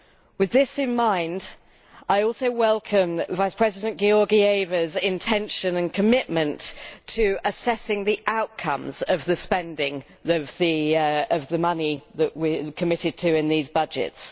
With this in mind, I also welcome Vice-President Georgieva's intention and commitment to assessing the outcomes of the spending of the money that we are committed to in these budgets.